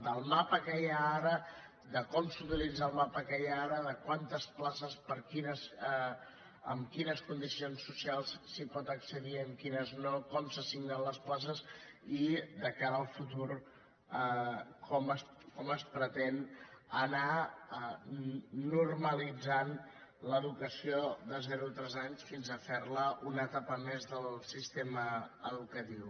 del mapa que hi ha ara de com s’utilitza el mapa que hi ha ara de quantes places amb quines condicions socials s’hi pot accedir amb quines no com s’assignen les places i de cara al futur com es pretén anar normalitzant l’educació de zero a tres anys fins a fer la una etapa més del sistema educatiu